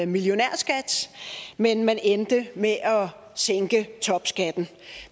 millionærskat men man endte med at sænke topskatten